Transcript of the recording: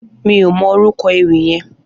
Mi ó mò órúkò éwì yèn